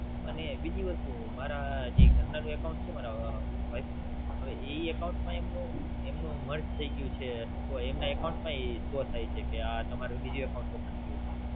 અને બીજી એક વસ્તુ. બીજીએ મારા ઘરના નું Account છે મારા Wife નું. હવે એ Account માં એમનું એમનું Merge થઈ ગયું છે અથવા તો એમના Account માં Open થયું છે.